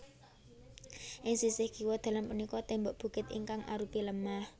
Ing sisih kiwa dalan punika tembok bukit ingkang arupi lemah